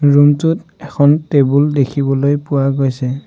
Room টোত এখন table দেখিবলৈ পোৱা গৈছে।